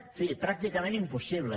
en fi pràcticament impossible